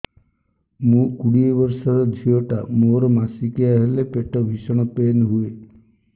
ମୁ କୋଡ଼ିଏ ବର୍ଷର ଝିଅ ଟା ମୋର ମାସିକିଆ ହେଲେ ପେଟ ଭୀଷଣ ପେନ ହୁଏ